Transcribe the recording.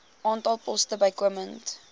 aantal poste bykomend